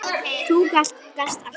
Þú gast allt.